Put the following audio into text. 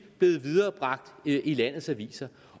blevet viderebragt i landets aviser